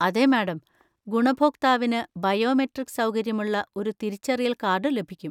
അതെ, മാഡം! ഗുണഭോക്താവിന് ബയോമെട്രിക് സൗകര്യമുള്ള ഒരു തിരിച്ചറിയൽ കാർഡ് ലഭിക്കും.